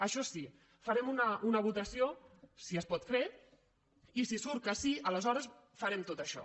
això sí farem una votació si es pot fer i si surt que sí aleshores farem tot això